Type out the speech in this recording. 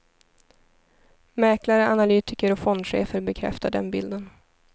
Mäklare, analytiker och fondchefer bekräftar den bilden.